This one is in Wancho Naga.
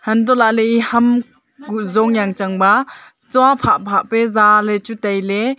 hantohlaley e ham kuh jong janchangba chua phah phah pe jaley chu tailey.